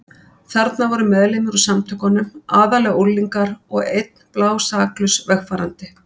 Þarna voru meðlimir úr Samtökunum, aðallega unglingar, og einn blásaklaus vegfarandi.